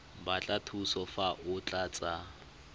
batla thuso fa o tlatsa